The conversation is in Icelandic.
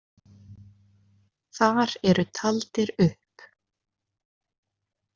Þar eru taldir upp.